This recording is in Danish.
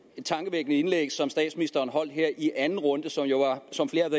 et tankevækkende indlæg som statsministeren holdt her i anden runde som jo var som flere